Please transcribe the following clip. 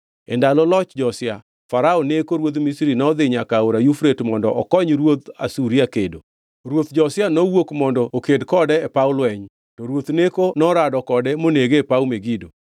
E ndalo loch Josia, Farao Neko ruodh Misri nodhi nyaka Aora Yufrate mondo okony ruodh Asuria kedo. Ruoth Josia nowuok mondo oked kode e paw lweny, to ruoth Neko norado kode monege e paw Megido.